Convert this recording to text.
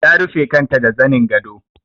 Ta rufe kanta da zanin gado.